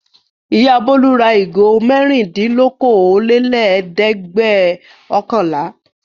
Ìyá Bólú ra ìgò mẹ́rindínlókòólélẹ́ẹ̀dẹ́gbẹ̀ọ̀kànlá.